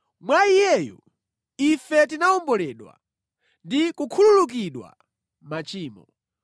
Mwa Iyeyu ife tinawomboledwa ndi kukhululukidwa machimo.